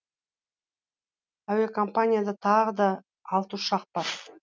әуекомпанияда тағы да алты ұшақ бар